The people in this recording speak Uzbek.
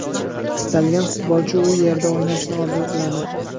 Istalgan futbolchi u yerda o‘ynashni orzu qiladi.